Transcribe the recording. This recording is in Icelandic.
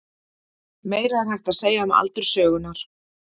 Meira er hægt að segja um aldur sögunnar.